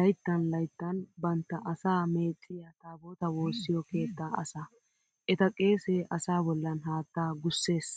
laytttan laytttan bantta asaa meecciya taabootaa woossiyo keettaa asaa. Eta qeesee asaa bollan haattaa gussees.